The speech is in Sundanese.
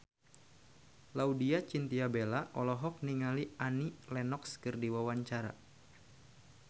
Laudya Chintya Bella olohok ningali Annie Lenox keur diwawancara